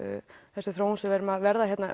þessi þróun sem við erum að verða